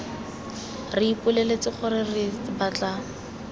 re ipoleletse gore re batla